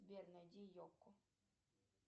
сбер найди елку